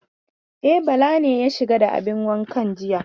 E, Bala ne ya shiga da abin wankan jiya.